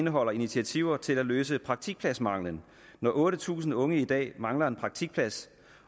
indeholder initiativer til at løse praktikpladsmangelen når otte tusind unge i dag mangler en praktikplads